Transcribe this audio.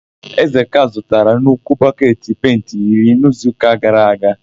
Ezeka zụtara nnukwu bọketi penti iri n'izuụka gara aga.